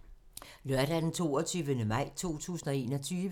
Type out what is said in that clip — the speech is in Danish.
Lørdag d. 22. maj 2021